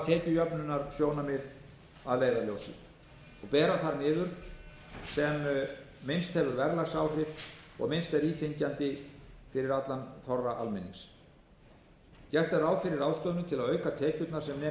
reynt að hafa tekjujöfnunarsjónarmið að leiðarljósi og bera þar niður sem minnst hefur verðlagsáhrif og minnst er íþyngjandi fyrir allan þorra almennings gert er ráð fyrir ráðstöfunum til að auka tekjurnar sem nemi ellefu milljörðum